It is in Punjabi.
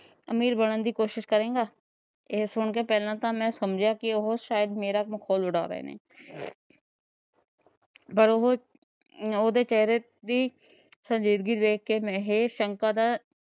ਅਮੀਰ ਬਣਨ ਦੀ ਕੋਸ਼ਿਸ਼ ਕਰੇਂਗਾ। ਇਹ ਸੁਣ ਕੇ ਪਹਿਲਾਂ ਤਾਂ ਮੈਂ ਸਮਝਿਆ ਕਿ ਉਹ ਸ਼ਾਇਦ ਉਹ ਮੇਰਾ ਮਖੌਲ ਉੜਾ ਰਹੇ ਨੇਂ। ਪਰ ਉਹ ਉਹਦੇ ਚੇਹਰੇ ਦੀ